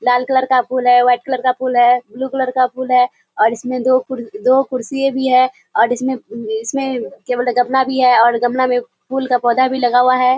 लाल colour का फूल है वाइट कलर का फूल है ब्लु कलर का फूल है और इसमे दो कुर दो कुर्सिया भी है इसमे इसमे क्या बोलते गमला भी है गमला मे फूल का पौधा भी लगा हुआ है।